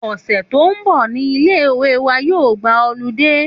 Òsè tó n bò ni ilé ìwé wa yóò gba olidé